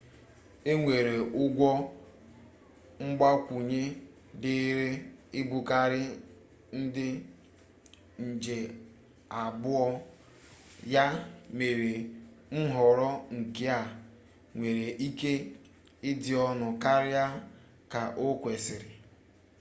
enwere ụgwọ mgbakwunye dịịrị ibukarị ndị nje abụọ ya mere nhọrọ nke a nwere ike ịdị ọnụ karịa ka okwesiri